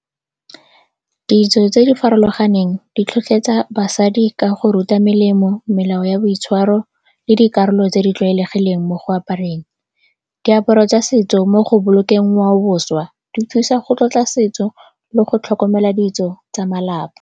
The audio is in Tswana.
Ditso tse di farologaneng di tlhotlheletsa basadi ka go ruta melemo, melao ya boitshwaro le dikarolo tse di tlwaelegileng mo go apereng diaparo tsa setso mo go bolokeng ngwaoboswa. Di thusa go tlotla setso le go tlhokomela ditso tsa malapa.